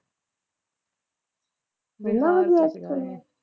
ਐਨਾ ਵਧੀਆ ਐਕਟਰ ਐ।